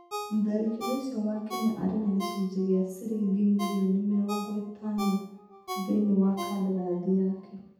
Mũtharakĩri ũcio wa Kenya arĩ na gĩcunjĩ kĩa ciringi mirioni mĩrongo ĩtano thĩinĩ wa kandarathi yake.